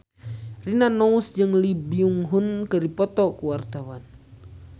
Rina Nose jeung Lee Byung Hun keur dipoto ku wartawan